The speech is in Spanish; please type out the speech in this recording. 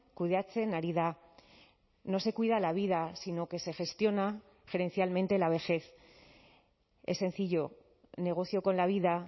kudeatzen ari da no se cuida la vida sino que se gestiona gerencialmente la vejez es sencillo negocio con la vida